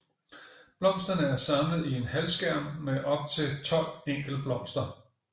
Blomsterne er samlet i en halvskærm med op til tolv enkeltblomster